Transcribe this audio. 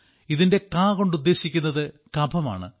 ഇതിന്റെ ക കൊണ്ട് ഉദ്ദേശിക്കുന്നത് കഫം ആണ്